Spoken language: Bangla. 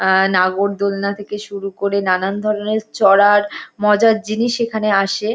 আহ নাগরদোলনা থেকে শুরু করে নানান ধরনের চড়ার মজার জিনিস এখানে আসে।